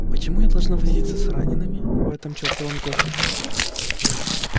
почему должна я возиться с ранеными в этом чертовом госпитале